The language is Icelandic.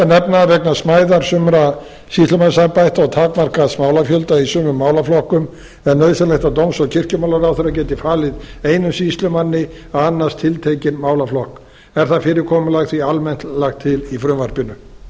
nefna að vegna smæðar sumra sýslumannsembætta og takmarkaðs málafjölda í sumum málaflokkum er nauðsynlegt að dóms og kirkjumálaráðherra geti falið einum sýslumanni að annast tiltekinn málaflokk er það fyrirkomulag því almennt lagt til í frumvarpinu